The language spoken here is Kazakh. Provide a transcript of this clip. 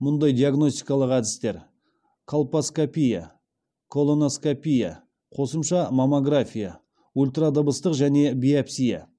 мұндай диагностикалық әдістер колпоскопия колоноскопия қосымша маммография ультрадыбыстық және биопсия